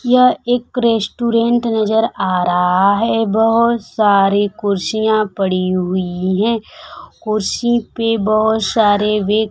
यह एक रेस्टुरेंट नजर आ रहा है बहोत सारी कुर्सियां पड़ी हुई हैं कुर्सी पे बहोत सारी बे--